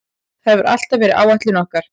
Það hefur alltaf verið áætlun okkar.